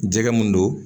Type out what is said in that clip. Jɛgɛ mun do